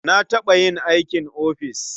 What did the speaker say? Na taɓa yin aikin ofis.